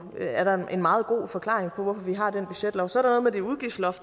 en meget god forklaring på at vi har den budgetlov så